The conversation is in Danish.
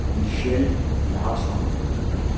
Michelle Larsson